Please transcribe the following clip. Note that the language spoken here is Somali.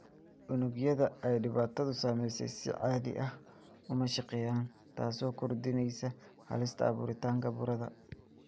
Unugyada ay dhibaatadu saameysey si caadi ah uma shaqeeyaan, taasoo kordhinaysa halista abuuritaanka burada.